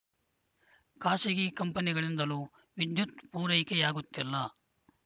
ಖಾಸಗಿ ಕಂಪನಿಗಳಿಂದಲೂ ವಿದ್ಯುತ್‌ ಪೂರೈಕೆಯಾಗುತ್ತಿಲ್ಲ